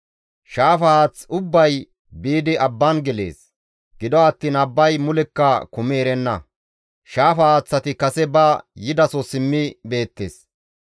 Shaafa haath ubbay biidi abban gelees; gido attiin abbay mulekka kumi erenna; shaafa haaththati kase ba yidaso simmi beettes.